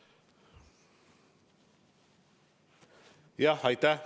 Aitäh!